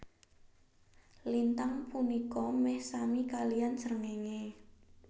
Lintang punika meh sami kaliyan srengenge